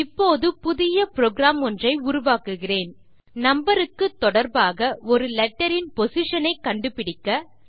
இப்போது புதிய புரோகிராம் ஒன்றை உருவாக்குகிறேன் நம்பர் க்கு தொடர்பாக ஒரு லெட்டர் இன் பொசிஷன் ஐ கண்டுபிடிக்க